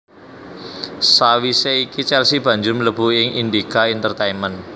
Sawisé iki Chelsea banjur mlebu ing Indika Intertainment